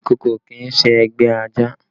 Ìkòkò kì í ṣe ẹgbẹ́ ajá